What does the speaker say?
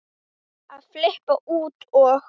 að flippa út og